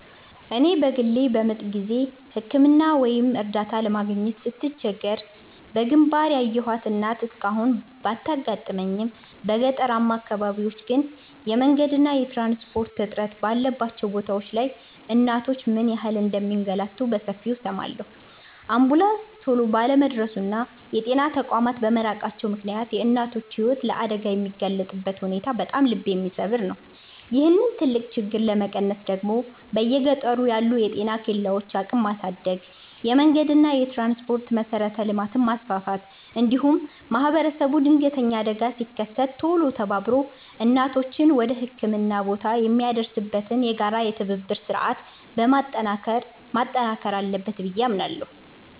እኔ በግሌ በምጥ ጊዜ ሕክምና ወይም እርዳታ ለማግኘት ስትቸገር በግንባር ያየኋት እናት እስካሁን ባታጋጥመኝም፣ በገጠራማ አካባቢዎች ግን የመንገድና የትራንስፖርት እጥረት ባለባቸው ቦታዎች ላይ እናቶች ምን ያህል እንደሚንገላቱ በሰፊው እሰማለሁ። አምቡላንስ ቶሎ ባለመድረሱና የጤና ተቋማት በመራቃቸው ምክንያት የእናቶች ሕይወት ለአደጋ የሚጋለጥበት ሁኔታ በጣም ልብ የሚሰብር ነው። ይህንን ትልቅ ችግር ለመቀነስ ደግሞ በየገጠሩ ያሉ የጤና ኬላዎችን አቅም ማሳደግ፣ የመንገድና የትራንስፖርት መሠረተ ልማትን ማስፋፋት፣ እንዲሁም ማኅበረሰቡ ድንገተኛ አደጋ ሲከሰት ቶሎ ተባብሮ እናቶችን ወደ ሕክምና ቦታ የሚያደርስበትን የጋራ የትብብር ሥርዓት ማጠናከር አለበት ብዬ አምናለሁ።